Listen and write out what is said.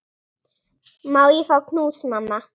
Má ég fá knús, mamma?